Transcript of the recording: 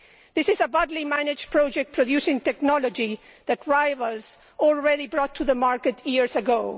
This is a badly managed project producing technology that rivals already brought to the market years ago.